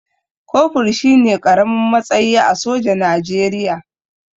Kofur shine ƙaramin matsayi a soja Najeriya